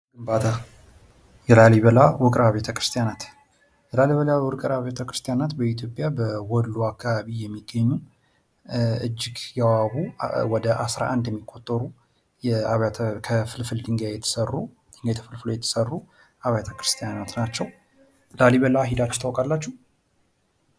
የላሊበላ ውቅር አብያተ ክርስቲያናት በኢትዮጵያ በወሎ አካባቢ የሚገኙ እጅግ ውቢ የሆኑ ወደ 11 የሚቆጠሩ ከፍልፍል ድንጋይ የተሰሩ አብያተ ክርስትያናት ናቸው። ላሊበላ ሄዳላችሁ ታውቃላችሁ?